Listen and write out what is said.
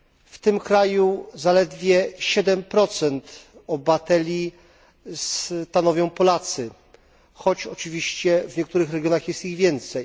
W tym kraju zaledwie 7 obywateli stanowią Polacy, choć oczywiście w niektórych regionach jest ich więcej.